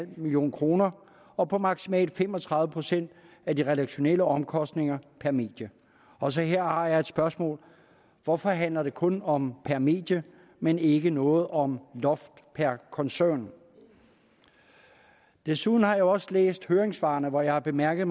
million kroner og på maksimalt fem og tredive procent af de redaktionelle omkostninger per medie også her har jeg et spørgsmål hvorfor handler det kun om per medie men ikke noget om loft per koncern desuden har jeg også læst høringssvarene hvor jeg har bemærket